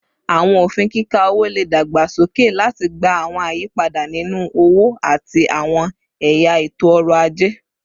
Awọn ofin kika owo le dagbasoke lati gba awọn ayipada ninu owo ati awọn ẹya eto-ọrọ aje